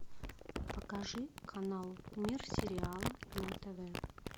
покажи канал мир сериала на тв